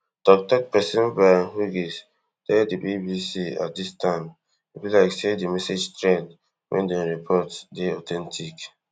toktok pesin brian hughes tell di bbc at dis time e be like say di message thread wey dem report dey authentic